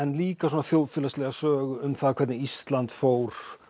líka svona þjóðfélagslega sögu um það hvernig Ísland fór